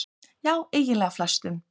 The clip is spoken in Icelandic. Já eiginlega flestum.